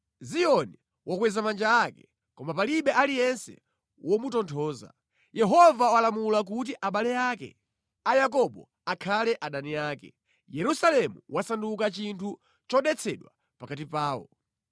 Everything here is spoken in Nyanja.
“Ziyoni wakweza manja ake, koma palibe aliyense womutonthoza. Yehova walamula kuti abale ake a Yakobo akhale adani ake; Yerusalemu wasanduka chinthu chodetsedwa pakati pawo.